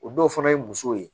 O dɔw fana ye musow ye